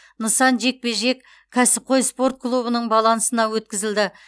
нысан жекпе жек кәсіпқой спорт клубының балансына өткізілді